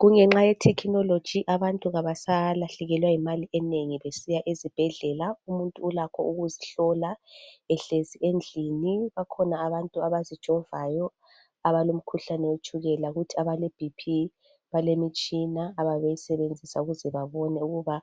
Kungenxa ye thekhinologi abantu kabasalahlekelwa yimali enengi besiya ezibhedlela umuntu ulakho ukuzihlola ehlezi endlini. Bakhona abantu abazijovayo abalomkhuhlane wetshukela kuthi abale bp balemitshina abayabe sebenzisa ukuze babone ukuthi